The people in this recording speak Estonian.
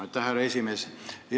Aitäh, härra esimees!